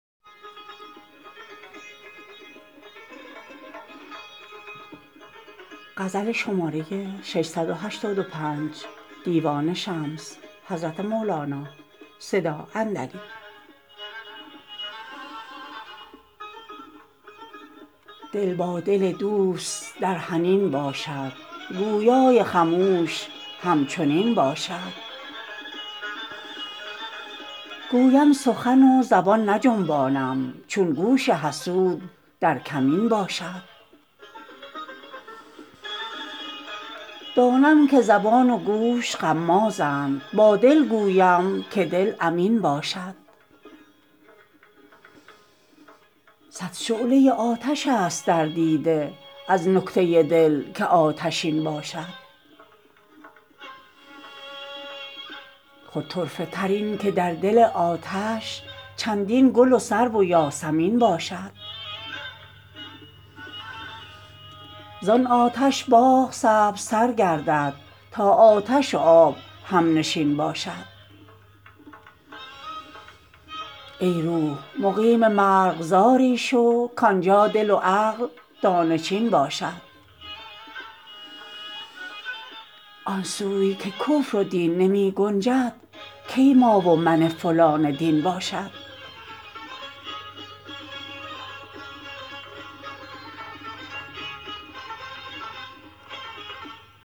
دل با دل دوست در حنین باشد گویای خموش همچنین باشد گویم سخن و زبان نجنبانم چون گوش حسود در کمین باشد دانم که زبان و گوش غمازند با دل گویم که دل امین باشد صد شعله آتش است در دیده از نکته دل که آتشین باشد خود طرفه تر این که در دل آتش چندین گل و سرو و یاسمین باشد زان آتش باغ سبزتر گردد تا آتش و آب همنشین باشد ای روح مقیم مرغزاری تو کان جا دل و عقل دانه چین باشد آن سوی که کفر و دین نمی گنجد کی ما و من فلان دین باشد